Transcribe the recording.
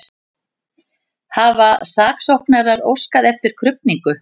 Hafa saksóknarar óskað eftir krufningu